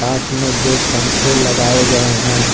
दो पंखे लगाए गए हैं।